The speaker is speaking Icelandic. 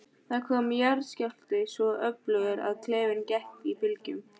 Það kom jarðskjálfti, svo öflugur að klefinn gekk í bylgjum.